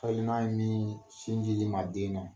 ye min sinji ma den na.